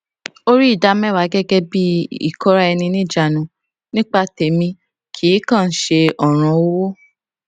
ó rí ìdáméwàá gẹgẹ bì i ìkóra ẹni níjanu nípa tẹmí kì í kàn án ṣe òràn owó